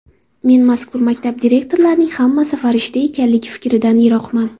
Men mazkur maktab direktorlarining hammasi farishta ekanligi fikridan yiroqman.